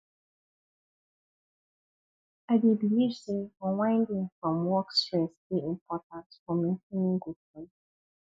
i dey believe say unwinding from work stress dey important for maintaining good health